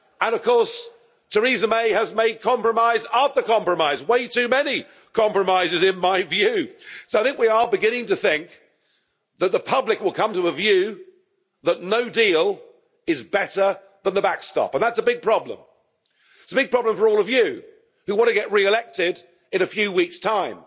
Of course, Theresa May has made compromise after compromise, way too many compromises in my view, so I think we are beginning to think that the public will come to a view that no deal is better than the backstop, and that's a big problem. It's a big problem for all of you, who want to get re elected in a few weeks' time,